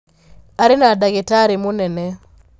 Aria na dagĩtarĩmũnene.